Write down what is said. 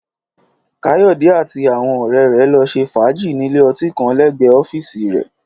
Káyọ̀dé àti àwọn ọ̀rẹ́ rẹ̀ lọ ṣe fàájì nílé ọtí kan lẹ́gbẹ̀ẹ́ ọ́fíìsì rẹ̀